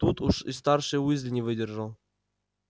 тут уж и старший уизли не выдержал